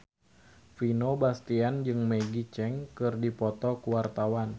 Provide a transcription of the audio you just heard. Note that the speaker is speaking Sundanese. Vino Bastian jeung Maggie Cheung keur dipoto ku wartawan